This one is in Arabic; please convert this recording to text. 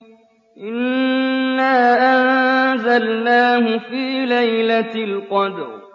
إِنَّا أَنزَلْنَاهُ فِي لَيْلَةِ الْقَدْرِ